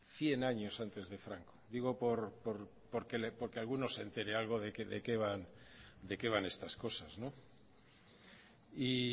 cien años antes de franco digo porque alguno se entere algo de qué van estas cosas y